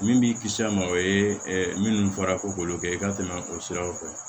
Min b'i kisi ma o ye minnu fɔra ko k'olu kɛ i ka tɛmɛ o siraw fɛ